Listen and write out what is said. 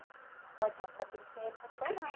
Ou então você vai pedir dinheiro para tua mãe.